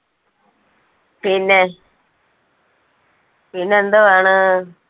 പിന്നെ പിന്നെ എന്തുവാണ്.